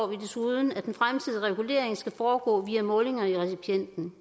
vi desuden at den fremtidige regulering skal foregå via målinger i recipienten